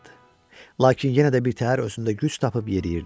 Lakin yenə də birtəhər özündə güc tapıb yeriyirdi.